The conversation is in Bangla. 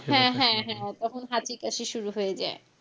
হ্যাঁ হ্যাঁ হ্যাঁ তখন হাঁচি কাশি শুরু হয়ে যায়।